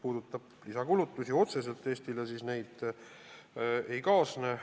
Lisakulutusi Eestile otseselt ei kaasne.